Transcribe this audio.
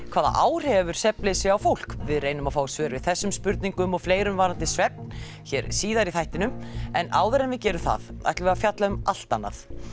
hvaða áhrif hefur svefnleysi á fólk við reynum að fá svör við þessum spurningum og fleirum varðandi svefn hér síðar í þættinum en áður en við gerum það ætlum við að fjalla um allt annað